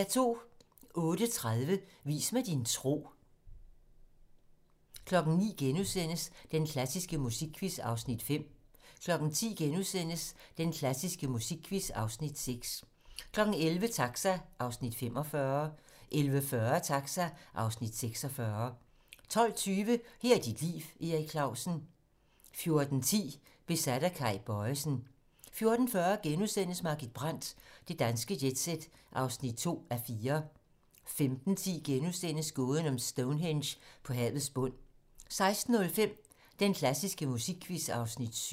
08:30: Vis mig din tro 09:00: Den klassiske musikquiz (Afs. 5)* 10:00: Den klassiske musikquiz (Afs. 6)* 11:00: Taxa (Afs. 45) 11:40: Taxa (Afs. 46) 12:20: Her er dit liv - Erik Clausen 14:10: Besat af Kay Bojesen 14:40: Margit Brandt - Det danske jet-set (2:4)* 15:10: Gåden om Stonehenge på havets bund * 16:05: Den klassiske musikquiz (Afs. 7)